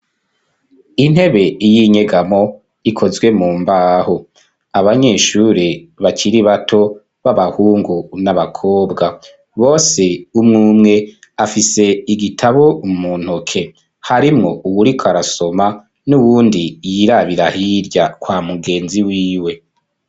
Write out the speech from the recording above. Intebe y'inyegamo ikozwe mu mbaho abanyeshure bakiri bato b'abahungu n'abakobwa bose umwe umwe afise igitabo muntoke harimwo uwuriko arasoma nundi yirabira hirya kwa mugenzi wiwe.